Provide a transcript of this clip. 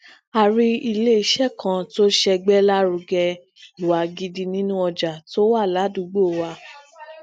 a rí ileiṣẹ kan to ṣegbelarugẹ iwa gidi nínú ọjà tó wà ládùúgbò wa